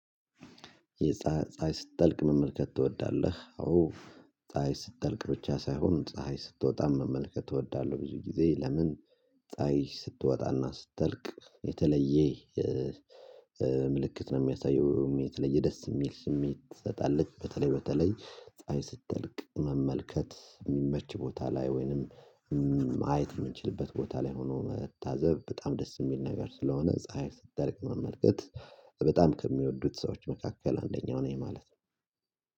ፀሀይ ስትጠልቅ መመልከት ትወዳለህ? አዎ ፀሀይ ስትጠልቅ ብቻ ሳይሆን ፀሀይ ስትወጣም መመልከት እወዳለሁ ብዙ ጊዜ ለምን? ፀሀይ ስትወጣና ስትጠልቅ የተለየ ምልክት ነው የሚያሳየው የተለየ ደስ የሚል ስሜት ትሰጣለች። በተለይ በተለይ ፀሀይ መመልከት የሚመች ቦታ ላይ ወይንም ማየት የምንችልበት ቦታ ላይ ሆኖ መታዘብ በጣም ደስ የሚል ነገር ስለሆነ ፀሀይ ስትጠልቅ መመልከት። በጣም ከሚወዱት ሰዎች መካከል አንደኛው ነኝ ማለት ነው